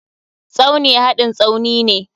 Tsauni hadin Tsaunine.